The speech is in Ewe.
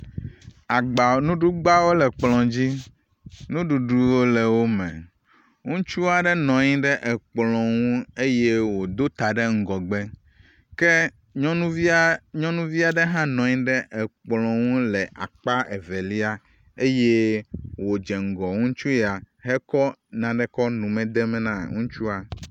Agba nuɖugbawo le kplɔ dzi. Nuɖuɖuwo le wo me. Ŋutsu aɖe nɔ anyi ɖe kplɔ ŋu eye wodo ta ɖe ŋgɔgbe ke nyɔnuvia nyɔnuvi aɖe hã nɔ anyi ɖe ekplɔ ŋu le akpa Evelia ye wodze ŋgɔ ŋutsuya eye wokɔ nane kɔ nume dem na ŋutsu ya.